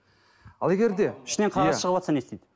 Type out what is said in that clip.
ал егер де ішінен қағаз шығыватса не істейді